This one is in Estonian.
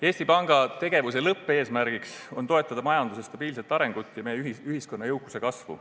Eesti Panga tegevuse lõppeesmärgiks on toetada majanduse stabiilset arengut ja meie ühiskonna jõukuse kasvu.